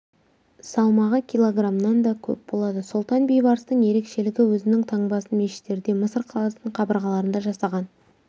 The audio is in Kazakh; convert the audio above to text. салмағы килограмнан да көп болады сұлтан бейбарыстың ерекшелігі өзінің таңбасын мешіттерде мысыр қаласының қабырғаларында жасаған